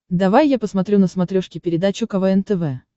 давай я посмотрю на смотрешке передачу квн тв